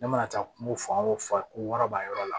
Ne mana taa kungo fan wo fan ko wɔɔrɔ b'a yɔrɔ la